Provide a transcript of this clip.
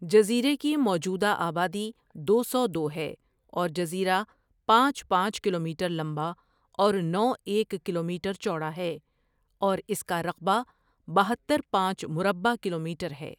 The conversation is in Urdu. جزیرے کی موجودہ آبادی دو سو، دو ہے اور جزیرہ پانچ پانچ کلومیٹر لمبا اور نو ایک کلومیٹر چوڑا ہے اور اس کا رقبہ بہتر پانچ مربع کلومیٹر ہے ۔